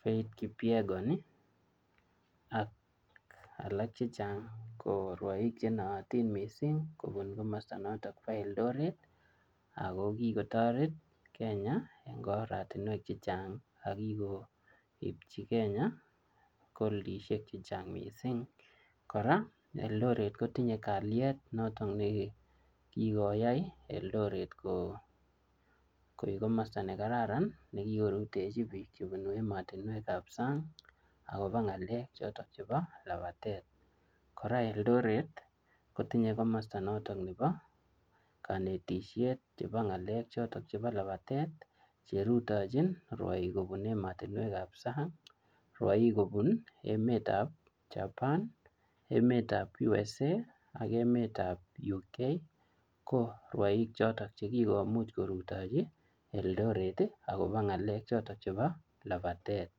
Feith Kipyegon ak alak chechang' ii ko rwoik chenooti mising' kobun komosto noto bo eldoret ako kikotoret kenya en oratiuek chechang' ako kikoipchi kenya koldishek chechang mising kora eldoret kotinye kaliet noton kikoyai eldoret koek komosto nekaran ne kikorutechi biik chebunu emotinuek ab sang akobo ngalek choto chebo lapatet kora eldoret kotinye komosto noto nepo konetishet chepo ng'alek choton chepo lapatet cherutochi rwoik kobun emotinwek ab sang' rwoik kobun emetab chapan emet ab USA ak emet ab UK ko rwoik choton chekikomuch korutochi Eldoret ii akobo ng'alek choto chepo lapatet